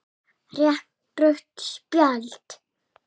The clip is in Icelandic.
Rétt rautt spjald?